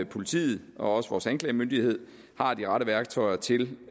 politiet og også vores anklagemyndighed har de rette værktøjer til